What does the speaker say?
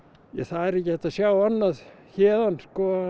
það er ekki hægt að sjá annað héðan